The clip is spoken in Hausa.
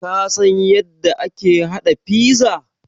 Ka san yadda ake haɗa pizza?